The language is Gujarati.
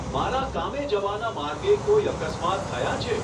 મારા કામે જવાના માર્ગે કોઈ અકસ્માત થયાં છે